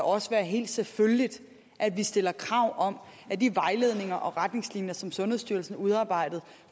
også være helt selvfølgeligt at vi stiller krav om at de vejledninger og retningslinjer som sundhedsstyrelsen har udarbejdet